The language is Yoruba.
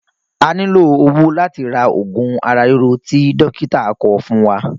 A nílò owó láti ra ogun ara rírọ tí dókítà kọ fún wa.